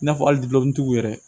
I n'a fɔ hali tigiw yɛrɛ